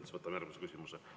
Siis võtame järgmise küsimuse.